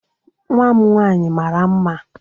nwa m nwaanyị mara mma